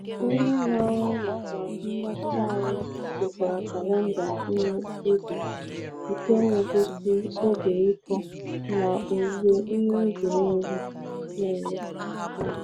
Onye na-ahụ maka mgbatị ahụ kesara kalenda ihe ubi nke na-egosi oge ịkụ na owuwe ihe ubi niile. niile.